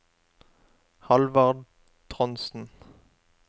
Halvard Trondsen